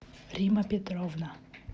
рима петровна